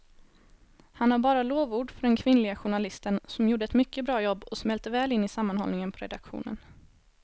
Han har bara lovord för den kvinnliga journalisten som gjorde ett mycket bra jobb och smälte väl in i sammanhållningen på redaktionen.